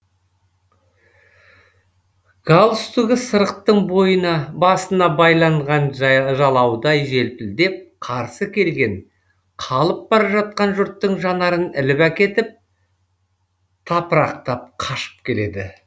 галстугы сырықтың басына байланған жалаудай желпілдеп қарсы келген қалып бара жатқан жұрттың жанарын іліп әкетіп тапырақтап қашып келеді